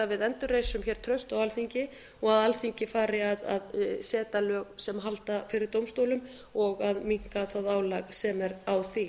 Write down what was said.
við endurreisum hér traust á alþingi og alþingi fari að setja lög sem halda fyrir dómstólum og að minnka það álag sem er á því